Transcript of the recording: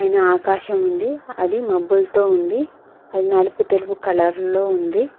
పైన ఆకాశముంది అది మబ్బులతో ఉంది అది నలుపు తెలుగు కలర్లో ఉంది.